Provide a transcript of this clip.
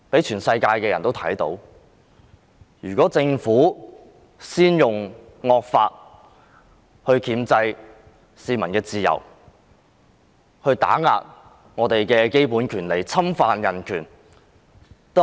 全世界的人都看到政府先用惡法箝制市民的自由，打壓我們的基本權利，侵犯人權。